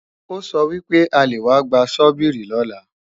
Ó sọ wípé a lè wá gba Sọ́bíìrì lọ́la